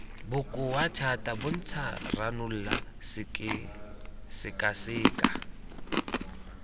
bokoa thata bontsha ranola sekaseka